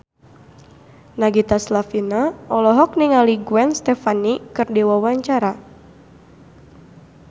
Nagita Slavina olohok ningali Gwen Stefani keur diwawancara